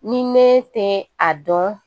Ni ne tɛ a dɔn